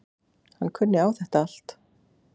Hann kunni á þetta allt.